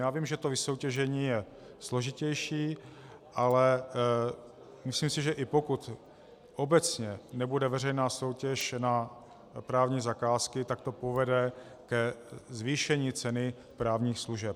Já vím, že to vysoutěžení je složitější, ale myslím si, že i pokud obecně nebude veřejná soutěž na právní zakázky, tak to povede ke zvýšení ceny právních služeb.